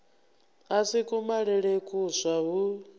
a si kumalele kuswa hu